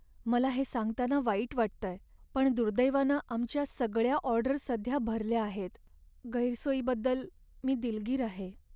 मला हे सांगताना वाईट वाटतंय, पण दुर्दैवानं आमच्या सगळ्या ऑर्डर सध्या भरल्या आहेत. गैरसोयीबद्दल मी दिलगीर आहे.